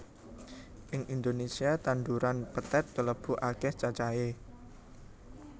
Ing Indonésia tanduran pethèt kalebu akéh cacahé